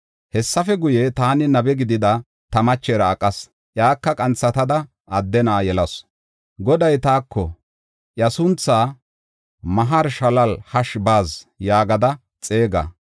Hessafe guye, taani nabe gidida ta machera aqas; iya qanthatada adde na7a yelasu. Goday taako, “Iya suntha, ‘Mahaar-Shalal-Hash-Baaz’ yaagada xeega.